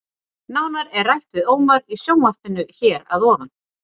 Nánar er rætt við Ómar í sjónvarpinu hér að ofan.